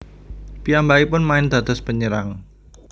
Piyambakipun main dados panyerang